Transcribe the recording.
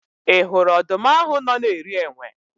Ị hụrụ ọdụm ahụ nọ na-eri enwe?